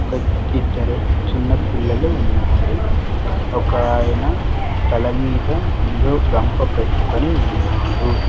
ఒక ఇద్దరు చిన్న పిల్లలు ఉన్నారు ఒకాయన తలమీద ఏందో గంప పెట్టుకొని ఉన్నాడు.